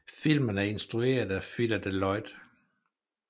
Filmen er instrueret af Phyllida Lloyd